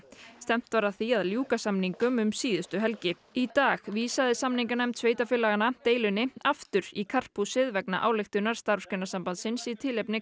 stefnt var að því að ljúka samningum um síðustu helgi í dag vísaði samninganefnd sveitarfélaganna deilunni aftur í karphúsið vegna ályktunar Starfsgreinasambandsins í tilefni